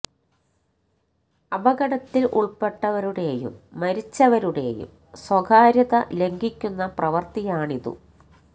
അപകട ത്തില് ഉൾപ്പെട്ട വരു ടെയും മരിച്ച വരു ടെയും സ്വകാര്യത ലംഘി ക്കുന്ന പ്രവൃത്തി യാണിതു